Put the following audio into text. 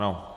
Ano.